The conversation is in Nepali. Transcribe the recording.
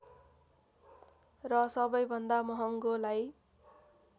र सबैभन्दा महँगोलाई